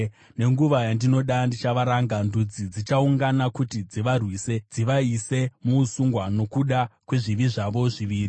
Nenguva yandinoda ndichavaranga; ndudzi dzichaungana kuti dzivarwise dzivaise muusungwa nokuda kwezvivi zvavo zviviri.